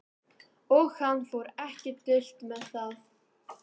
Og hann fór ekki dult með það.